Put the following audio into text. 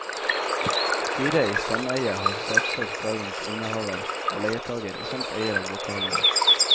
Styret i sameiet har saksøkt dagens innehaver og leietager, samt eier av lokalene.